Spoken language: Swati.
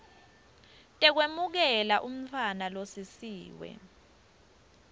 tekwemukela umntfwana losisiwe